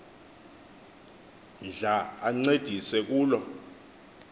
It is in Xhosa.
ndla ancedise kulo